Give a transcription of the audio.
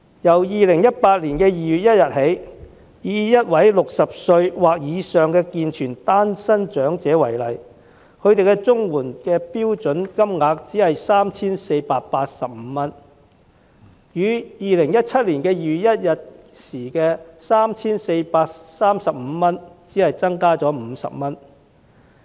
由2018年2月1日起，以一位60歲或以上的健全單身長者為例，他每月獲取的綜援標準金額只是 3,485 元，與2017年2月1日的 3,435 元比較只增加了50元。